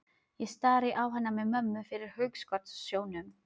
Ég stari á hana með mömmu fyrir hugskotssjónum.